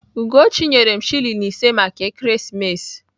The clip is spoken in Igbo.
Ugochi nyere m shilling ise maka ekeresimesi.